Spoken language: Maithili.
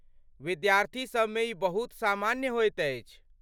विद्यार्थीसभ मे ई बहुत सामान्य होइत अछि।